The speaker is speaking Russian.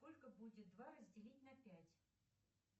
сколько будет два разделить на пять